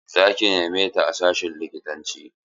Za ki neme ta a sashin likitanci?